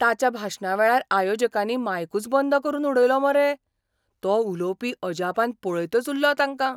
ताच्या भाशणावेळार आयोजकांनी मायकूच बंद करून उडयलो मरे, तो उलोवपी अजापान पळयतच उल्लो तांकां.